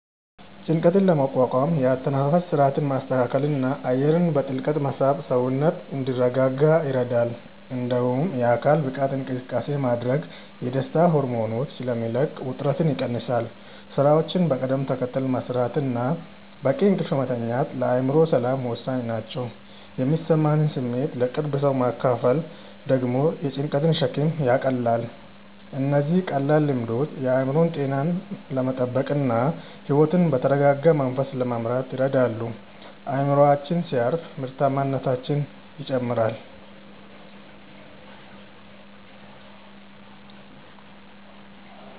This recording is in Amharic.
ጭንቀትን ለመቋቋም የአተነፋፈስ ሥርዓትን ማስተካከልና አየርን በጥልቀት መሳብ ሰውነት እንዲረጋጋ ይረዳል። እንዲሁም የአካል ብቃት እንቅስቃሴ ማድረግ የደስታ ሆርሞኖችን ስለሚለቅ ውጥረትን ይቀንሳል። ሥራዎችን በቅደም ተከተል መሥራትና በቂ እንቅልፍ መተኛት ለአእምሮ ሰላም ወሳኝ ናቸው። የሚሰማንን ስሜት ለቅርብ ሰው ማካፈል ደግሞ የጭንቀትን ሸክም ያቃልላል። እነዚህ ቀላል ልምዶች የአእምሮ ጤናን ለመጠበቅና ሕይወትን በተረጋጋ መንፈስ ለመምራት ይረዳሉ። አእምሮአችን ሲያርፍ ምርታማነታችንም ይጨምራል።